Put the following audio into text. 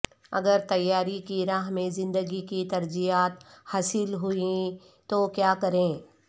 اگر تیاری کی راہ میں زندگی کی ترجیحات حاصل ہوئیں تو کیا کریں